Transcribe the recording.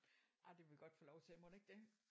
Ah det må vi godt få lov til mon ikke det